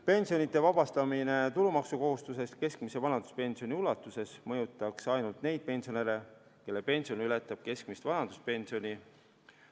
Pensionide vabastamine tulumaksukohustusest keskmise vanaduspensioni ulatuses mõjutaks ainult neid pensionäre, kelle pension ületab keskmist vanaduspensioni.